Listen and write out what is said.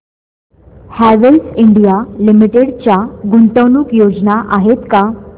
Havells India Limited च्या गुंतवणूक योजना आहेत का